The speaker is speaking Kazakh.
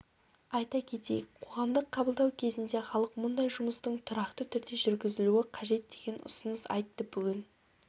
айта кетейік қоғамдық қабылдау кезінде халық мұндай жұмыстың тұрақты түрде жүргізілуі қажет деген ұсыныс айтты бүгін